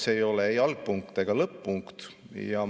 See ei ole ei algpunkt ega lõpp-punkt.